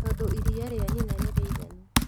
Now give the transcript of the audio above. Tondũ iriia rĩa nyina nĩrĩiganu